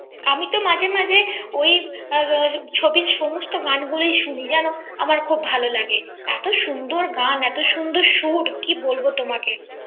আমি তো মাঝে মাঝে ওই ছবির সমস্ত গানগুলি শুনি জানো আমার তো খুব ভালো লাগে এত সুন্দর গান এত সুন্দর সুর কি বলব তোমাকে